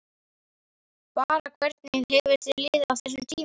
Bara, hvernig hefur þér liðið á þessum tíma?